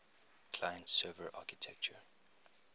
client server architecture